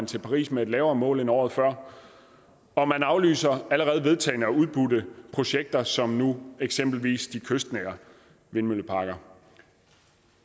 til paris med et lavere mål end året før og man aflyser allerede vedtagne og udbudte projekter som nu eksempelvis de kystnære vindmølleparker